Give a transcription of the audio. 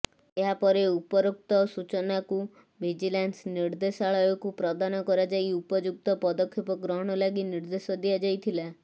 ଏହାପରେ ଉପରୋକ୍ତ ସୂଚନାକୁ ଭିଜିଲାନ୍ସ ନିର୍ଦ୍ଦେଶାଳୟକୁ ପ୍ରଦାନ କରାଯାଇ ଉପଯୁକ୍ତ ପଦକ୍ଷେପ ଗ୍ରହଣ ଲାଗି ନିର୍ଦ୍ଦେଶ ଦିଆଯାଇଥିଲା